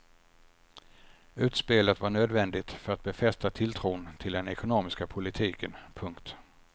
Utspelet var nödvändigt för att befästa tilltron till den ekonomiska politiken. punkt